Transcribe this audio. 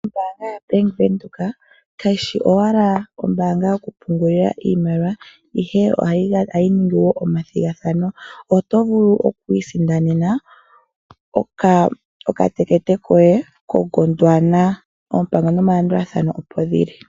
Ombaanga ya bank widhoek ka yishi owala ombaanga yo ku pungula iimaliwa, ihe ohayi ningi woo oma thigathano. Oto vulu oku isindanena oka tekete koye ko Gondwana. Oompango no malandulathano opo dhili.